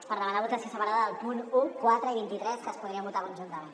per demanar votació separada dels punts un quatre i vint tres que es podrien votar conjuntament